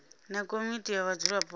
na komiti ya vhadzulapo vha